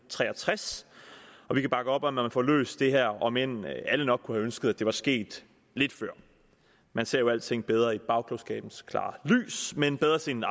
tre og tres og vi kan bakke op om at man får løst det her om end alle nok kunne have ønsket at det var sket lidt før man ser jo alting bedre i bagklogskabens klare lys men bedre sent